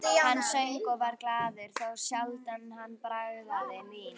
Hann söng og var glaður, þá sjaldan hann bragðaði vín.